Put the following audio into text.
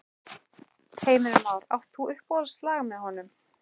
Heimir Már: Átt þú uppáhaldslag með honum?